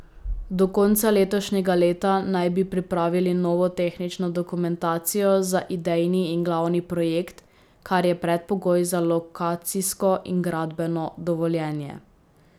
Do konca letošnjega leta naj bi pripravili novo tehnično dokumentacijo za idejni in glavni projekt, kar je predpogoj za lokacijsko in gradbeno dovoljenje.